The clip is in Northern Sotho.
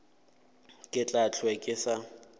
ke tla hlwe ke sa